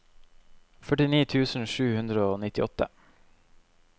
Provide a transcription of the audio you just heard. førtini tusen sju hundre og nittiåtte